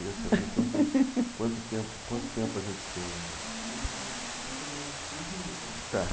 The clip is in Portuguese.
Eu queria saber quanto quanto tempo quanto tempo a gente tem ainda. Tá.